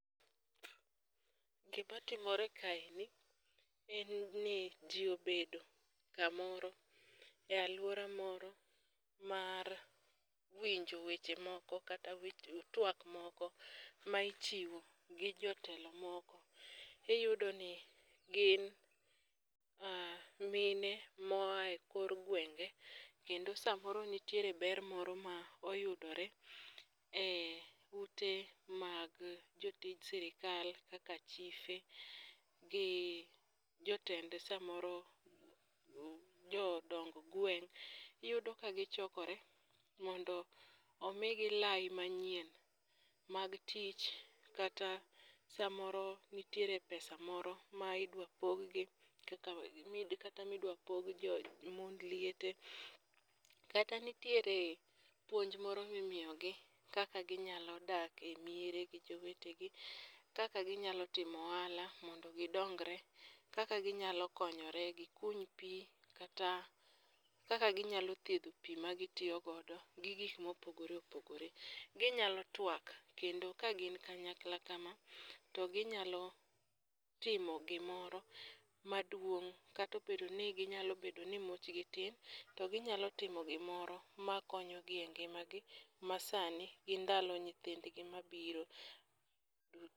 Gimatimore kaeni en ni ji obedo ,kamoro e alwora moro mar winjo weche moko kata twak moko ma ichiwo gi jotelo moko. Iyudoni gin mine moa e kor gwenge kendo samoro nitiere ber moro ma oyudore e ute mag jotij sirikal kaka chife gi jotend samoro, jodong gweng'i yudo ka gichokore mondo omigi lai manyien mag tich kata samoro nitiere pesa moro midwa poggi kata midwa pog mond liete, kata nitiere puonj moro mimiyogi kaka ginyalo dak e miere gi jowetegi, kaka ginyalo timo ohala mondo gidonyre. Kaka ginyalo konyore, gikuny pi kata kaka ginyalo thiedho pi magitiyo gi gik mopogore opogore. Ginyalo twak kendo kagin kanyakla kama, to ginyalo timo gimoro maduong' ,kata obedo ni ginyalo bedo ni muchgi tin, to ginyalo timo gimoro makonyogi e ngimagi masani gi ndalo nyithindgi mabiro.